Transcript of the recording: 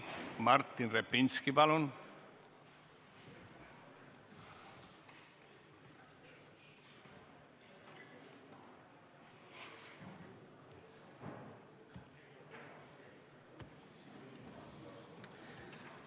Martin Repinski, palun!